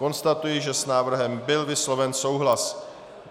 Konstatuji, že s návrhem byl vysloven souhlas.